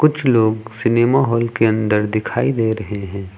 कुछ लोग cinema hall के अंदर दिखाई दे रहे हैं।